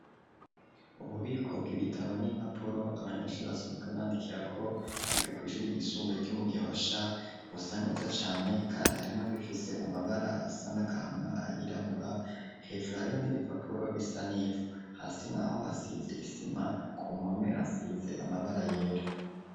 Ububiko bw'ibitabo, n'impapuro abanyeshure basanzwe bandikira ko ,biga kw'Ishure ryisumbaye ryo mu gihosha, bisa neza cane kandi harimwo nibifise amabara asa nagahama, ayirabura, hejuru harimwo n'ibipapuro bisanivu, hasi n'aho hasize isima, ku mpume hasize amabara yera.